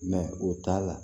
o t'a la